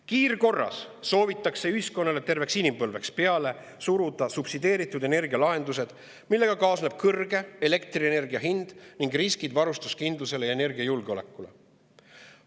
Kiirkorras soovitakse ühiskonnale terveks inimpõlveks peale suruda subsideeritud energia lahendused, millega kaasneb kõrge elektrienergia hind ning riskid varustuskindlusele ja energiajulgeolekule.